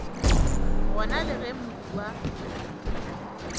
gona le ge modu wa